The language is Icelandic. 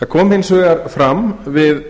það kom hins vegar fram við